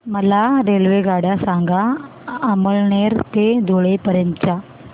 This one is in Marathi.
मला रेल्वेगाड्या सांगा अमळनेर ते धुळे पर्यंतच्या